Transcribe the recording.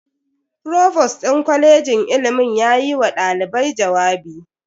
Provost din kwalejin ilimin yayi wa dalibai jawabi.